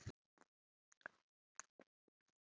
Minn hugur klökkur er.